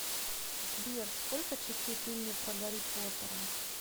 сбер сколько частей в фильме про гарри поттера